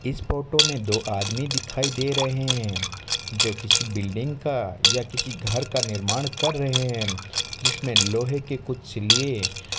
इस फोटो मे दो आदमी दिखाई दे रहे है जो किसी बिल्डिंग का या किसी घर का निर्माण कर रहे है जिसमें लोहे के कुछ लिए --